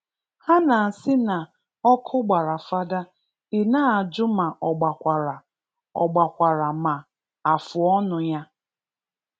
Ha na-asị na ọkụ gbara Father ị na-ajụ ma ọ gbakwara ọ gbakwara ma afụọnụ ya